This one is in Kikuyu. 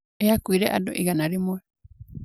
yakuire andũ igana rĩmwe